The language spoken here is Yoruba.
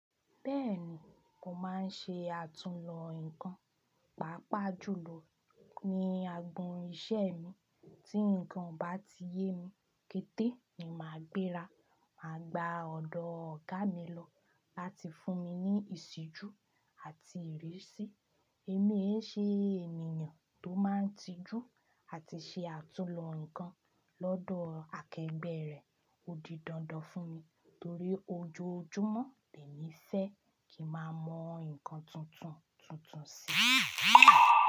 Bẹ́ẹ̀ni, mo máa ń ṣe àtúnlo nǹkan, pàápàá jùlọ ní agbọn iṣẹ́ mi. Tí nǹkan bá ti yé mi kété, ni màá gbéra, màá gba ọ̀dọ̀ ọ̀gá mi lọ láti fún mi ní ìṣíjú àti ìrísí. Èmi ẹ́ ṣe ènìyàn tó máa ń tijú àti ṣe àtúnlo nǹkan lọ́dọ̀ akẹgbẹ́ rẹ̀. Ó di dandan fún mi torí ojoojúmọ́ lè mi fẹ́ kí máa mọ nǹkan tuntun tuntun sí.